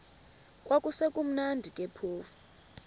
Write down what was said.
kwakusekumnandi ke phofu